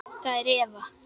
Það er Eva.